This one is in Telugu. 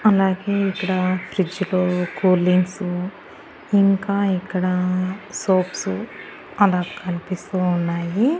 అలాగే ఇక్కడ ఫ్రిడ్జ్ లు కూలింగ్ సు ఇంకా ఇక్కడా సోప్సు అలా కన్పిస్తూ ఉన్నాయి.